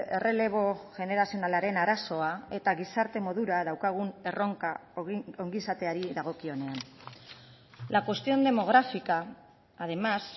errelebo generazionalaren arazoa eta gizarte modura daukagun erronka ongizateari dagokionean la cuestión demográfica además